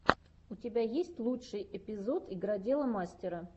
у тебя есть лучший эпизод игродела мастера